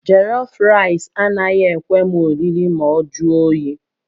Jọlọf raịs anaghị ekwe m oriri ma ọ jụọ oyi